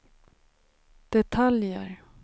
detaljer